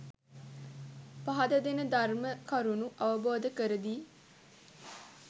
පහදා දෙන ධර්ම කරුණු අවබෝධ කරදී.